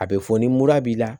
A bɛ fɔ ni mura b'i la